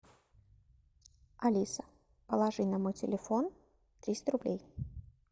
алиса положи на мой телефон триста рублей